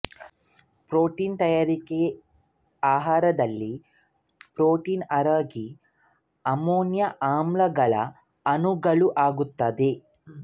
protein ತಯಾರಿಕೆ ಆಹಾರದಲ್ಲಿ protein ಅರಗಿ ಅಮೈನೋ ಆಮ್ಲಗಳ ಅಣುಗಳಾಗುತ್ತವೆ